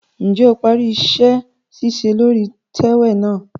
Njẹ o parí iṣẹ-ṣiṣe lórí itẹwe náà?